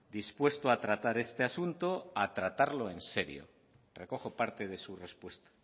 dispuesto a tratar este asunto a tratarlo en serio recojo parte de su respuesta